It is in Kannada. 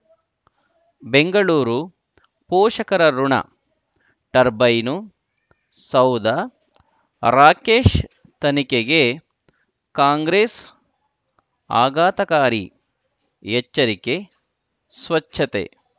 ಬೆಂಗಳೂರು ಪೋಷಕರಋಣ ಟರ್ಬೈನು ಸೌಧ ರಾಕೇಶ್ ತನಿಖೆಗೆ ಕಾಂಗ್ರೆಸ್ ಆಘಾತಕಾರಿ ಎಚ್ಚರಿಕೆ ಸ್ವಚ್ಛತೆ